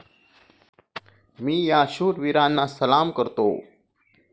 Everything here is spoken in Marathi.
मी या शूर वीरांना सलाम करतो.